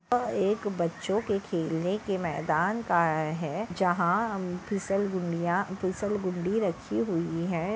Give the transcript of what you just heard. यह एक बच्चों के खेलने के मैदान का है जहा हम फिसल गुंडिया फिसलगुंडी रखी हुई है।